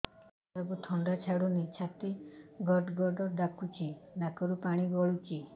ଛୁଆକୁ ଥଣ୍ଡା ଛାଡୁନି ଛାତି ଗଡ୍ ଗଡ୍ ଡାକୁଚି ନାକରୁ ପାଣି ଗଳୁଚି